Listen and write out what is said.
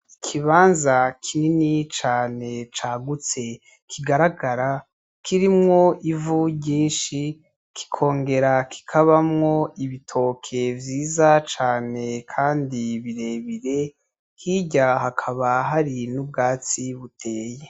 Ikibanza kinini cane cagutse kigaragara, kirimwo ivu ryinshi kikongera kikabamwo ibitoke vyiza cane kandi birebire hirya hakaba hari n'ubwatsi buteye.